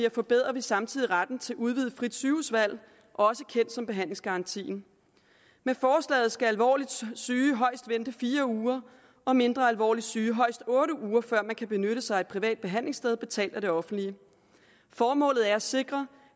og forbedrer vi samtidig retten til et udvidet frit sygehusvalg også kendt som behandlingsgarantien med forslaget skal alvorligt syge højst vente fire uger og mindre alvorligt syge højst otte uger før de kan benytte sig af et privat behandlingssted betalt af det offentlige formålet er at sikre